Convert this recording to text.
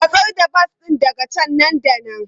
Matsar da bas ɗin daga can nan da nan!